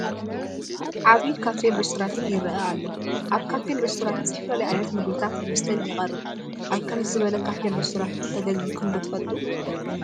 ዓብዪ ካፌን ሬስቶራንትን ይርአ ኣሎ፡፡ ኣብ ካፌን ሪስቶራንትን ዝተፈላለዩ ዓይነት ምግብታትን መስተታትን ይቐርብ፡፡ ኣብ ከምዚ ዝበለ ካፌን ሬስቶራንትን ተገልጊልኩም ዶ ትፈልጡ?